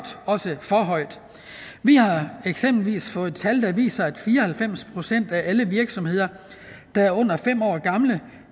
også for højt vi har eksempelvis fået tal der viser at fire og halvfems procent af alle virksomheder der er under fem år gamle